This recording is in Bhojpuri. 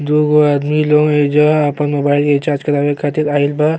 दुगो आदमी लोग एईजा आपन मोबइल के रिचार्ज करावे खातिर आइल बा।